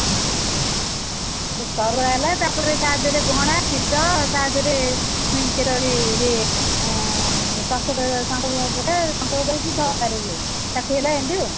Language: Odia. ସରୁଆ ହେଲା ଆଉ ତାପରେ ତାଦେହରେ ଘଣା ତାଦେହରେ ପୁଣି ଇଏ ଆଁ ତାକି ହେଲା ଏମିତି ଆଉ